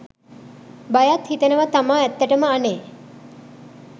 බයත් හිතෙනවා තමා ඇත්තටම අනේ